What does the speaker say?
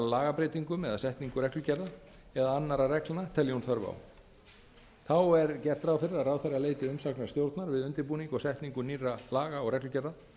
lagabreytingum eða setningu reglugerða eða annarra reglna telji hún þörf á þá er gert ráð fyrir að ráðherra leiti umsagnar stjórnar við undirbúning að setningu nýrra laga og reglugerða